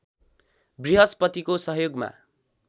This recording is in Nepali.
बृहस्पतिको सहयोगमा